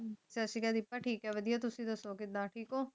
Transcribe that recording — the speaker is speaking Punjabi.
ਸਤਿ ਸ੍ਰੀ ਅਕਾਲ ਗੁਪਤਾ ਠੀਕ ਐ ਵਧੀਆ ਤੁਸੀ ਦੱਸੋ ਕਿਦਾ ਠੀਕ ਹੋ